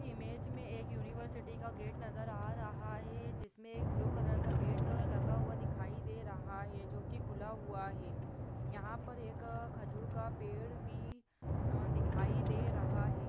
इस इमेज में एक यूनिवर्सिटी का गेट नजर आ रहा है जिसमें एक ब्लू कलर का गेट लगा हुआ दिखाई दे रहा है जो कि खुला हुआ है यहाँ पर एक आ खजूर का पेड़ भी आ दिखाई दे रहा है।